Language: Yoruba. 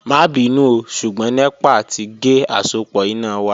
Ma binu ooo ṣugbọn nepa ti ge asopọ ina wa